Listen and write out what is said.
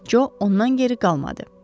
Co ondan geri qalmadı.